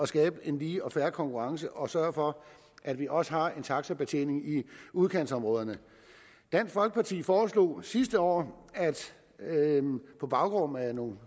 skabe en lige og fair konkurrence og sørge for at vi også har en taxabetjening i udkantsområderne dansk folkeparti foreslog sidste år på baggrund af nogle